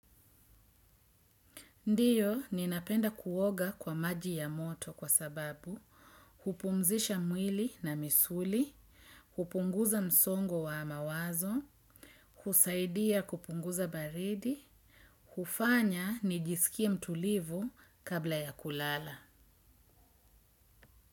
Ndio ninapenda kuoga kwa maji ya moto kwa sababu hupumzisha mwili na misuli, hupunguza msongo wa mawazo, husaidia kupunguza baridi, hufanya nijisikie mtulivu kabla ya kulala.